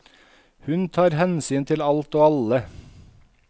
Hun tar hensyn til alt og alle.